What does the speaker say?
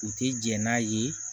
U tɛ jɛn n'a ye